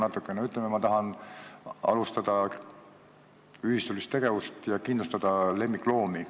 Ütleme, et ma tahan alustada ühistulist tegevust ja kindlustada lemmikloomi.